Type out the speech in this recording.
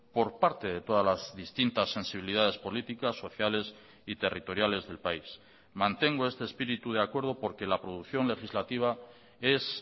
por parte de todas las distintas sensibilidades políticas sociales y territoriales del país mantengo este espíritu de acuerdo porque la producción legislativa es